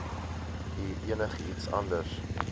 u enigiets anders